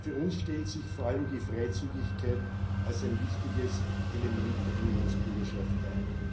Für uns stellt sich vor allem die Freizügigkeit als ein wichtiges Element der Unionsbürgerschaft dar.